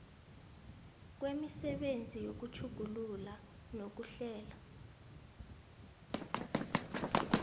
kwemisebenzi yokutjhugulula nokuhlela